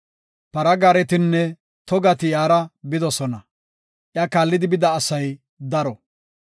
Para gaaretinne togati iyara bidosona. Iya kaallidi bida asay daro.